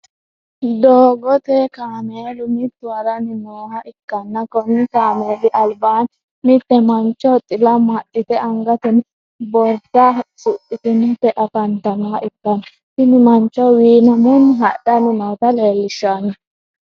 doogote kameelu mittu haranni nooha ikanna konni kameeli alibaani mitte mancho xila amaxite angatenno borisa suxitinoti afamtanoha ikanna tinni mancho wiinamunni hadhanni noota lelishanno.